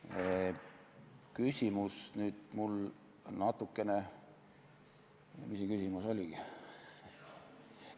Mis see küsimus oligi?